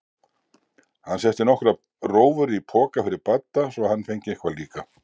Hann setti nokkrar rófur í poka fyrir Badda svo hann fengi eitthvað líka.